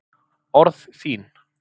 Orð þín